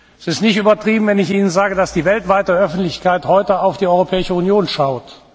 Es ist nicht übertrieben, wenn ich Ihnen sage, dass die weltweite Öffentlichkeit heute auf die Europäische Union schaut.